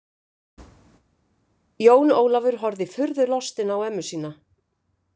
Jón Ólafur horfði furðulostinn á ömmu sína.